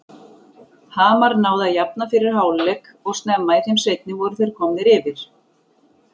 Hamar náði að jafna fyrir hálfleik og snemma í þeim seinni voru þeir komnir yfir.